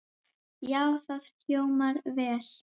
Já, það hljómar vel.